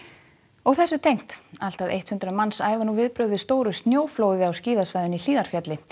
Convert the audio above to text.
og þessu tengt allt að eitt hundrað manns æfa nú viðbrögð við stóru snjóflóði á skíðasvæðinu í Hlíðarfjalli